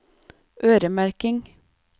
øremerking